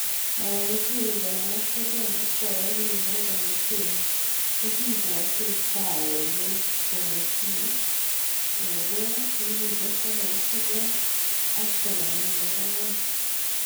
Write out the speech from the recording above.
mama Muchemi,59,ak boyondenyin, Dancan Muchemi kokiiboti kaawek eng komosie koboch 1984